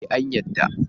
Ee, an yarda.